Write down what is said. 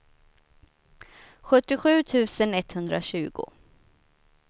sjuttiosju tusen etthundratjugo